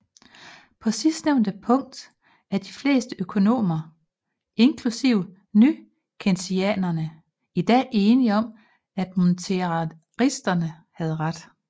På sidstnævnte punkt er de fleste økonomer inklusive nykeynesianerne i dag enige om at monetaristerne havde ret